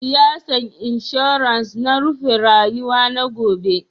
Siyasan insurance na rufe faruwa na gobe.